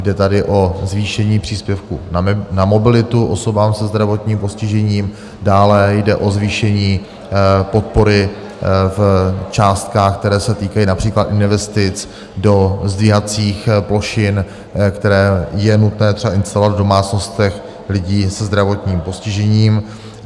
Jde tady o zvýšení příspěvku na mobilitu osobám se zdravotním postižením, dále jde o zvýšení podpory v částkách, které se týkají například investic do zdvihacích plošin, které je nutné třeba instalovat v domácnostech lidí se zdravotním postižením.